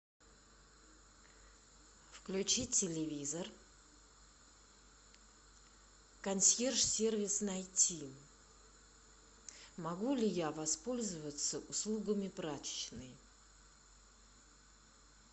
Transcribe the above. включи телевизор консьерж сервис найти могу ли я воспользоваться услугами прачечной